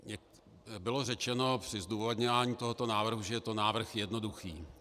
Bylo řečeno při zdůvodňování tohoto návrhu, že je to návrh jednoduchý.